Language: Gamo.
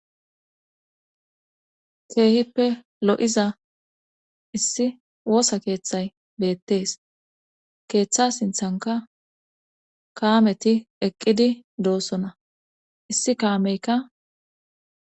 keehippe lo7iza issi woosa keeththay beettees keeththa sinthanka kaameti eqqidi doossona issi kaameykka